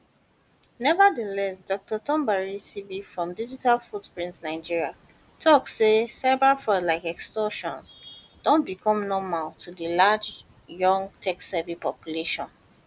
nevertheless dr tombari sibe from digital footprints nigeria tok say cyberfraud like sextortion don become normal to di large young techsavvy population